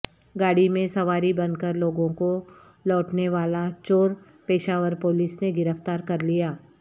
گاڑی میں سواری بن کر لوگوں کو لوٹنے والا چور پشاور پولیس نے گرفتار کرلیا